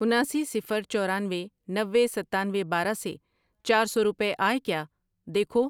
اناسی، صفر، چورانوے، نوے، ستانوے، بارہ سے چار سو روپے آئے کیا دیکھو۔